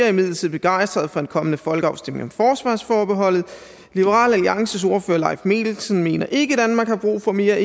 imidlertid begejstrede for en kommende folkeafstemning om forsvarsforbeholdet liberal alliances ordfører leif mikkelsen mener ikke danmark har brug for mere